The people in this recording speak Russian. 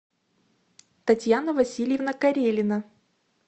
татьяна васильевна карелина